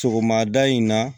Sɔgɔmada in na